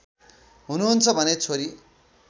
हुनुहुन्छ भने छोरी